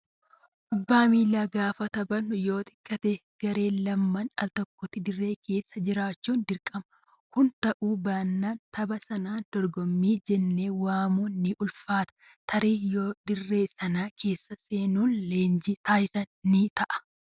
Kubbaa miilaa gaafa taphannu yoo xiqqaate gareen lama altokkotti dirree keessa jiraachuun dirqama. Kun ta'uu baannaan tapha sanaan dorgommii jennee waamuun ni ulfaata. Tarii yoo dirree sana keessa seenuun leenjii taasisan ni ta'a.